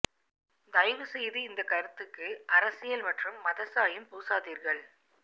தயவு செய்து இந்த கருத்துக்கு அரசியல் மற்றும் மத சாயம் பூசாதீர்கள்